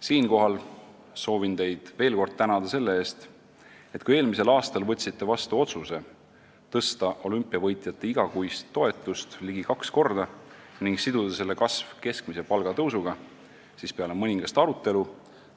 Siinkohal soovin teid veel kord tänada selle eest, et kui te eelmisel aastal võtsite vastu otsuse tõsta olümpiavõitjate igakuist toetust ligi kaks korda ning siduda selle kasv keskmise palga tõusuga, siis peale mõningast arutelu